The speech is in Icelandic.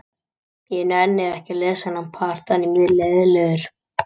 Sameindirnar hafa þó enn hreyfiorku sem kemur fram sem titringur þeirra í kristallinum.